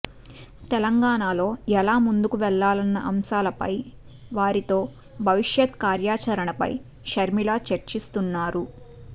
తెలంగాణలో ఎలా ముందుకు వెళ్లాలన్న అంశాలపై వారితో భవిష్యత్ కార్యాచరణపై షర్మిల చర్చిస్తున్నారు